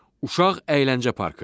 Uşaq əyləncə parkı.